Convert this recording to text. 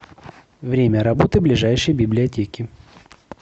время работы ближайшей библиотеки